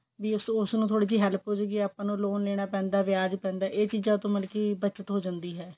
ਵੀ ਉਸਨੂੰ ਥੋੜੀ help ਹੋਜੂਗੀ ਆਪਾਂ ਨੂੰ loan ਲੇਣਾ ਪੈਂਦਾ ਵਿਆਜ ਪੈਂਦਾ ਇਹ ਚੀਜਾਂ ਤੋਂ ਮਤਲਬ ਕਿ ਬੱਚਤ ਹੋ ਜਾਂਦੀ ਹੈ